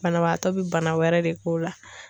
Banabaatɔ be bana wɛrɛ de k'o la.